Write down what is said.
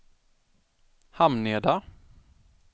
Hamneda